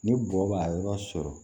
Ni bɔgɔ b'a yɔrɔ sɔrɔ